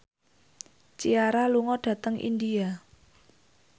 Ciara lunga dhateng India